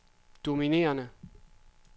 dominerende